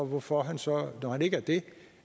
hvorfor han så